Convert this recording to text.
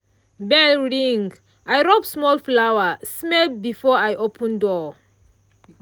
bell ring i rub small flower-smell before i open door.